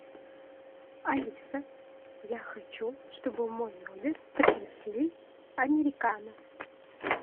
алиса я хочу чтобы в мой номер принесли американо